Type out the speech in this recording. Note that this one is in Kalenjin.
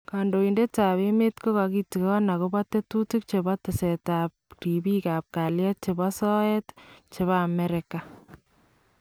Kandoindetab emeet kokatikoon akobo tetutik chebo teseetab ribiikab kalyet chebo soyeet chebo Amerika